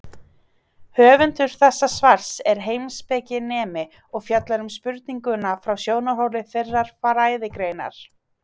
Höfundur þessa svars er heimspekinemi og fjallar um spurninguna frá sjónarhóli þeirrar fræðigreinar.